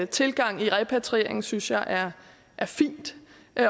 tilgang i repatrieringen synes jeg er fin